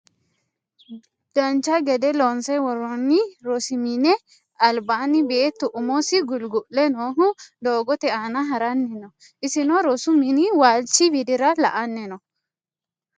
dancha gede loonse worrooni rosu mini albaanni beetu umosi gulgu'le noohu doogote aana haranni no isino rosu mini waalchi widira la"anni no